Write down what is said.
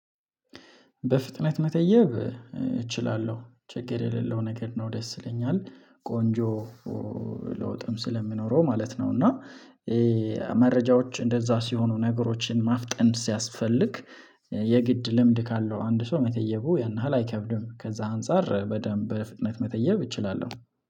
በፍጥነት መተየብ እችላለሁ ችግር የሌለው ነገር ነው ደስ ይለኛል ቆንጆ ለውጥም ስለሚኖረው ማለት ነው። እና መረጃዎች እንደዛ ሲሆኑ ነገሮችን ማፍጠን ሲያስፈልግ የግድ ልምድ ካለው አንድ ሰው መጠየቁ ያን ያሀል አይከብድም። ከዛ አንፃር በደንብ በፍጥነት መተየብ እችላለሁ